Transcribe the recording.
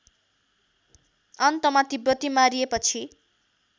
अन्तमा तिब्बती मारिएपछि